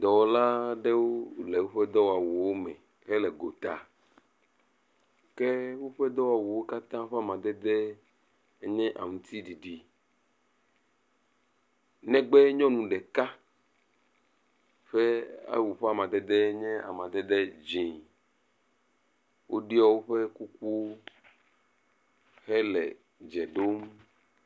Dɔwɔla aɖewo le woƒe dɔwɔwuwo me hele gota. Ke woƒe dɔwɔwuwo katã ƒe amadede nye aŋutiɖiɖi, negbe nyɔnu ɖeka ƒe awu ɔe amadede nye amadede dzɛ̃. Woɖɔ woƒe kuku hele dze ɖom.